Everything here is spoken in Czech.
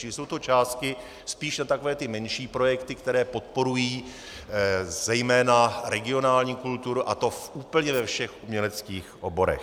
Čili jsou to částky spíš na takové menší projekty, které podporují zejména regionální kulturu, a to úplně ve všech uměleckých oborech.